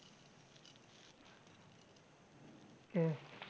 કે